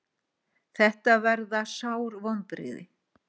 Þetta verða sár vonbrigði.